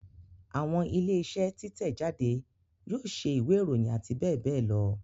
Àwọn ilé iṣẹ́ títẹ̀ jáde yóò ṣe ìwé ìròyìn àti bẹ́ẹ̀ bẹ́ẹ̀ lọ